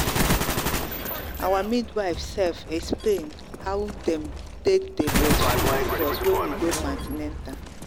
our midwife sefexplain how them take day breastfeed give us when we go for an ten atal